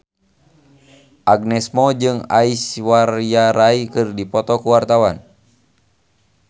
Agnes Mo jeung Aishwarya Rai keur dipoto ku wartawan